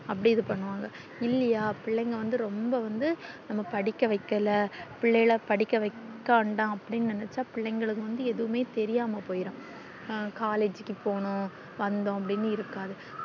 அப்டி இது பண்ணுவாங்க இல்லையா பிள்ளைங்க வந்து ரொம்ப வந்து நம்ம படிக்க வைக்கல பிள்ளைகள படிக்க வைக்க வேண்டாம்ன்னு நெனச்சோம் பிள்ளைகளுக்கு ஏதுமே தெரியாம போயிரும் collage க்கு போகணும் வந்தோம் அப்டின்னு இருக்காது